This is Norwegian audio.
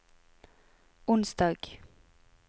onsdag